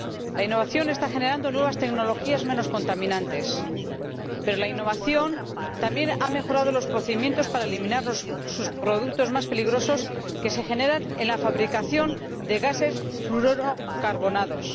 La innovación está generando nuevas tecnologías menos contaminantes, pero la innovación también ha mejorado los procedimientos para eliminar los subproductos más peligrosos que se generan en la fabricación de gases fluorocarbonados.